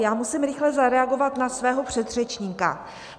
Já musím rychle zareagovat na svého předřečníka.